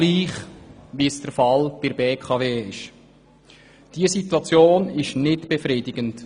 Es ist derselbe Fall wie bei der BKW, und das ist unbefriedigend.